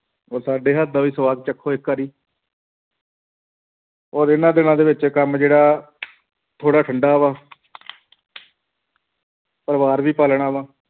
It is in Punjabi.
ਔਰ ਸਾਡੇ ਹੱਥ ਦਾ ਵੀ ਸਵਾਦ ਚੱਖੋ ਇੱਕ ਵਾਰੀ ਔਰ ਇਹਨਾਂ ਦਿਨਾਂ ਦੇ ਵਿੱਚ ਕੰਮ ਜਿਹੜਾ ਥੋੜ੍ਹਾ ਠੰਢਾ ਵਾ ਪਰਿਵਾਰ ਵੀ ਪਾਲਣਾ ਵਾਂ,